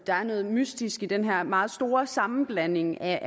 der er noget mystisk i den her meget store sammenblanding af